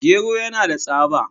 Gero yana da tsaba.